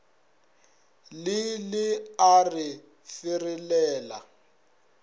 le le a re ferelela